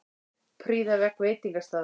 Prýða vegg veitingastaðar